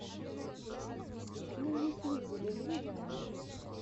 на ютьюбе набери вайны